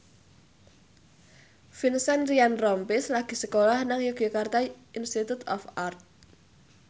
Vincent Ryan Rompies lagi sekolah nang Yogyakarta Institute of Art